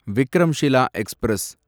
Vikramshila express